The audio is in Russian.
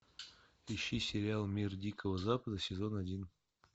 ищи сериал мир дикого запада сезон один